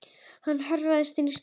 Hann hörfaði inn í stofu.